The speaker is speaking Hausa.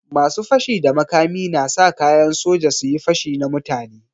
Masu fashi da makami na sa kayan soja su yi pashi na mutane.